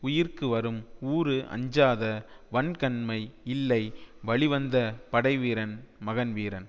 உயிர்க்கு வரும் ஊறு அஞ்சாத வன்கண்மை இல்லை வழிவந்த படைவீரன் மகன் வீரன்